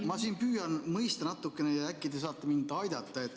Ma siin püüan mõista seda asja natukene ja äkki te saate mind aidata.